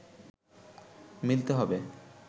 মিলতে হবে